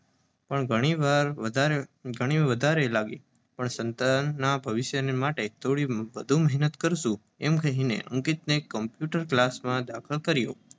પણ ઘણી વાર વધારે ઘણી વધારે લાગી. પણ સંતાનના ભવિષ્ય માટે થોડી વધુ મહેનત કરીશું અમે કહીને અંકિતને કમ્પ્યૂટર ક્લાસમાં દાખલ કર્યો.